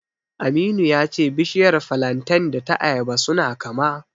Aminu ya ce bishiyar filanten da ta ayaba suna kama.